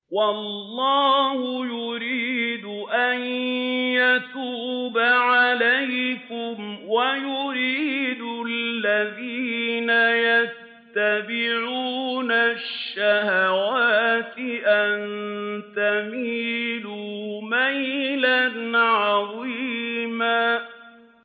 وَاللَّهُ يُرِيدُ أَن يَتُوبَ عَلَيْكُمْ وَيُرِيدُ الَّذِينَ يَتَّبِعُونَ الشَّهَوَاتِ أَن تَمِيلُوا مَيْلًا عَظِيمًا